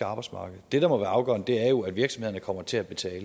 arbejdsmarked det der må være afgørende er jo at virksomhederne kommer til at betale